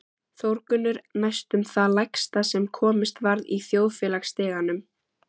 Þórgunnur næstum það lægsta sem komist varð í þjóðfélagsstiganum